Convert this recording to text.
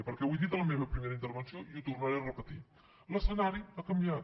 perquè ho he dit a la meva primera intervenció i ho tornaré a repetir l’escenari ha canviat